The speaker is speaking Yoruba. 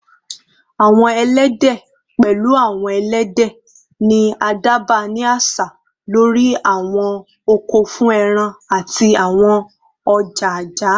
Awọn ẹlẹdẹ, pẹlu awọn ẹlẹdẹ, ni a dagba ni aṣa lori awọn oko fun ẹran ati awọn ọja-ọja